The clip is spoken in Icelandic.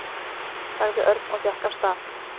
sagði Örn og gekk af stað.